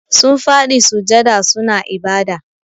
Sun fadi sujjada suna ibada.